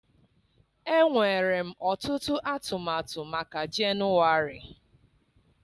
Enwere m ọtụtụ atụmatụ maka Jenụwarị.